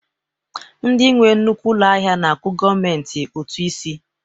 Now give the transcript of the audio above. Ndị nwe nnukwu ụlọ ahịa na-akwụ gọọmentị ụtụ isi